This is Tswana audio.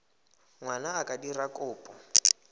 ngwana a ka dira kopo